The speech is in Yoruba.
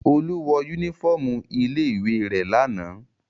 Olú wọ únífọ́ọ́mù ilé-ìwé rẹ̀ lánàá.